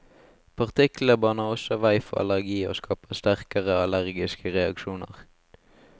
Partiklene baner også vei for allergi og skaper sterkere allergiske reaksjoner.